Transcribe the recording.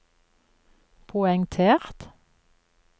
poengtert